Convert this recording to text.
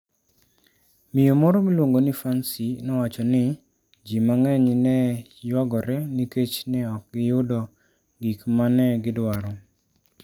Miyo moro miluongo ni Fancy nowacho ni: "Ji mang'eny ne ywagore nikech ne ok giyudo gik ma ne gidwaro.